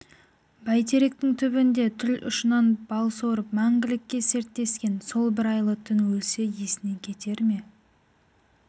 бәйтеректің түбінде тіл ұшынан бал сорып мәңгілікке серттескен сол бір айлы түн өлсе есінен кетер ме